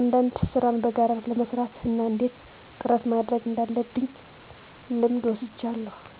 አንዳንድ ሥራን በጋራ ለመሥራት እና እንዴት ጥረት ማድረግ እንዳለብ ልምድ ወስጃለሁ።